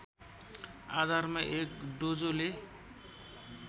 आधारमा एक डोजोले